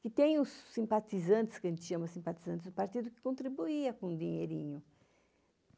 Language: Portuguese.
Que tem os simpatizantes, que a gente chama simpatizantes do partido, que contribuía com o dinheirinho.